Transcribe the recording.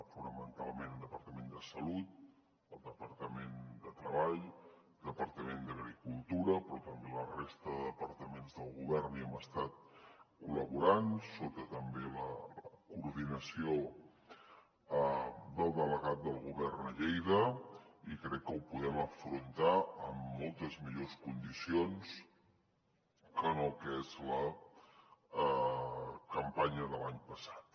fonamentalment el departament de salut el departament de treball el departament d’agricultura però també la resta de departaments del govern hi hem estat col·laborant sota també la coordinació del delegat del govern a lleida i crec que ho podem afrontar amb moltes millors condicions que no el que és la campanya de l’any passat